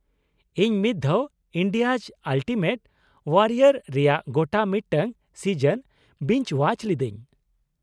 ᱤᱧ ᱢᱤᱫ ᱫᱷᱟᱣ 'ᱤᱱᱰᱤᱭᱟᱡ ᱟᱞᱴᱤᱢᱮᱴ ᱳᱣᱟᱨᱤᱭᱚᱨ' ᱨᱮᱭᱟᱜ ᱜᱚᱴᱟ ᱢᱤᱫᱴᱟᱝ ᱥᱤᱡᱚᱱ ᱵᱤᱧᱡ ᱳᱣᱟᱪ ᱞᱤᱫᱟᱹᱧ ᱾